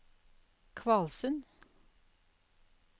Kvalsund